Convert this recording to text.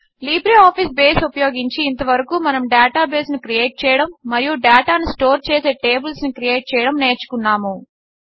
LibreOffice Base ఉపయోగించి ఇంతవరకు మనము డేటాబేస్ను క్రియేట్ చేయడము మరియు డేటాను స్టోర్ చేసే టేబిల్స్ను క్రియేట్ చేయడము నేర్చుకున్నాము